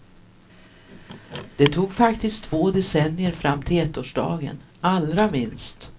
Det tog faktiskt två decennier fram till ettårsdagen, allra minst.